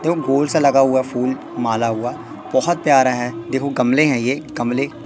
देखो गोल सा लगा हुआ फूल माला हुआ बहुत प्यारा है देखो गमले हैं ये गमले।